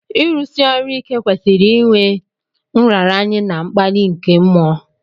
Ịrụsi ọrụ ike kwesiri iwé nraranye na mkpali nke mmụọ